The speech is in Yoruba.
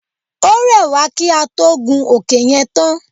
Ó rẹ̀ wá kí á tó gun òkè yẹn tán.